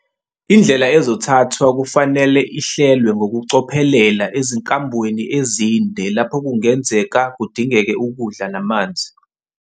Indlela ezothathwa kufanele ihlelwe ngokucophelela ezinkambweni ezinde lapho kungenzeka kudingeke ukudla namanzi.